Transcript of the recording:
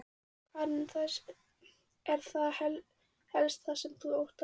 Karen: Er það helst það sem þú óttast?